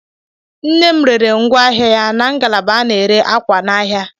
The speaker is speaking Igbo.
Nnem reere ngwa ahịa ya na ngalaba a na-ere akwa n'ahia.